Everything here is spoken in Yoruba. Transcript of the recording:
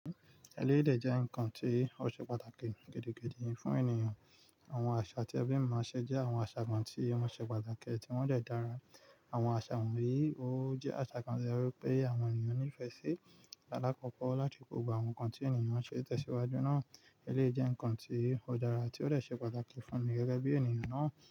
Ẹléèdè jẹ́ ǹkan tí ó ṣe pàtàkì gidi gidi fún ènìyàn. Àwọn àṣà tí ebi mi maa n ṣe jẹ́ àwọn àṣà kan tí wọ́n ṣe pàtàkì tí wọ́n dẹ́ dára. Àwọn àṣà wọ̀nyí ó jẹ́ àṣà kan nítorí pé àwọn ènìyàn nífẹ̀ẹ́ sí alákọ̀kọ́ láti kò gbogbo àwọn ǹkan tí ènìyàn ṣe tẹsiwaju náà. Eléyi jẹ́ ǹkan tí ó dára tí ó de ṣe pàtàkì fún mi gẹ́gẹ́ bí ènìyàn náà.